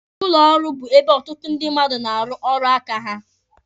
Ụlọ ọrụ bụ ebe ọtụtụ ndị mmadụ na-arụ ọrụ aka ha.